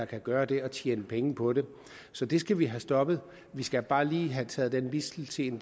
kan gøre det og tjene penge på det så det skal vi have stoppet vi skal bare lige have taget den mistelten